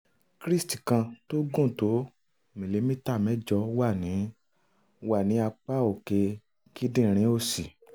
cyst kan tó gùn tó milimita mẹ́jọ wà ní wà ní apá òkè kíndìnrín òsì